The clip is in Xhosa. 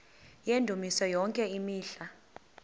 yendumiso yonke imihla